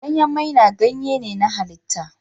Ganyen maina ganye ne na halitta.